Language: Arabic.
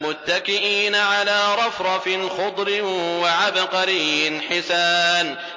مُتَّكِئِينَ عَلَىٰ رَفْرَفٍ خُضْرٍ وَعَبْقَرِيٍّ حِسَانٍ